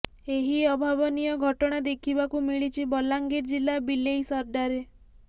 ଏହି ଅଭାବନୀୟ ଘଟଣା ଦେଖିବାକୁ ମିଳିଛି ବଲାଙ୍ଗିର ଜିଲ୍ଲା ବିଲେଇସର୍ଡାରେ